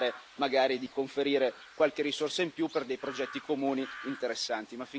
anche parlare, magari, di conferire qualche risorsa in più per dei progetti comuni interessanti.